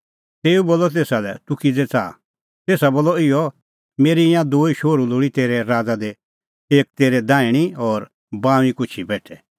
तेऊ बोलअ तेसा लै तूह किज़ै च़ाहा तेसा बोलअ इहअ मेरै ईंयां दूई शोहरू लोल़ी तेरै राज़ा दी एक तेरै दैहणीं और बाऊंईं कुछी बेठै